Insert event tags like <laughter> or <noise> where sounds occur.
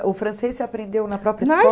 É. O francês você aprendeu na própria <unintelligible>